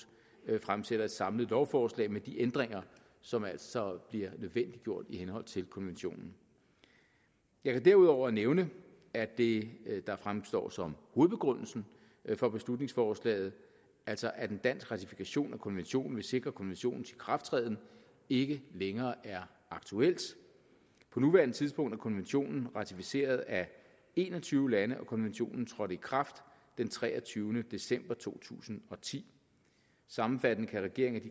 fremsætter et samlet lovforslag med de ændringer som altså bliver nødvendiggjort i henhold til konventionen jeg kan derudover nævne at det der fremstår som hovedbegrundelsen for beslutningsforslaget altså at en dansk ratifikation af konventionen vil sikre konventionens ikrafttræden ikke længere er aktuelt på nuværende tidspunkt er konventionen ratificeret af en og tyve lande og konventionen trådte i kraft den treogtyvende december to tusind og ti sammenfattende kan regeringen af